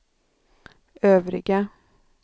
övriga